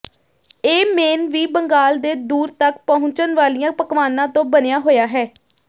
ਇਹ ਮੇਨ ਵੀ ਬੰਗਾਲ ਦੇ ਦੂਰ ਤਕ ਪਹੁੰਚਣ ਵਾਲੀਆਂ ਪਕਵਾਨਾਂ ਤੋਂ ਬਣਿਆ ਹੋਇਆ ਹੈ